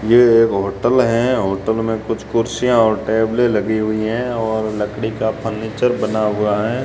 ये एक होटल है होटल में कुछ कुर्सियां और टेबले लगी हुई है और लकड़ी का फर्नीचर बना हुआ है।